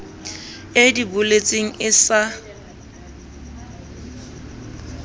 e di boletseng e sa